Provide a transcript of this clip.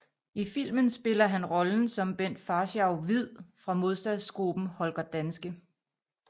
I filmen spiller han rollen som Bent Faurschou Hviid fra modstandsgruppen Holger Danske